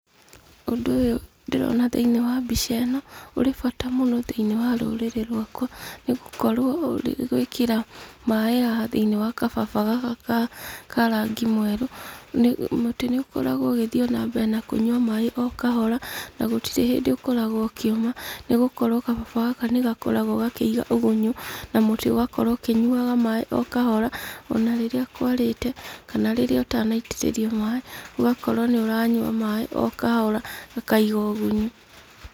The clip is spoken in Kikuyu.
Ũndũ ũyũ ndĩrona thĩinĩ wa mbica ĩno, ũrĩ bata mũno thĩinĩ wa rũrĩrĩ rwakwa, nĩgũkorwo ũrĩgwĩkĩra maaĩ haha thĩinĩ wa gababa gaka ka rangĩ mwerũ, nĩ mũtĩ nĩ ũkoragwo ũgĩthiĩ ona mbere na ũkĩnyua maaĩ o kahora na gũtirĩ hĩndĩ ũkoragwo ũkĩũma, nĩgũkorwo gababa gaka nĩ gakoragwo gakĩiga ũgunyu na mũtĩ ũgakorwo ũkĩnyuaga maaĩ o kahora, ona rĩrĩa kwarĩte, kana rĩrĩa ũtanaitĩrĩria maaĩ, ũgakorwo no ũranyua maaĩ o kahora, gakaiga ũgunyu.